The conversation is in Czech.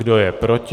Kdo je proti?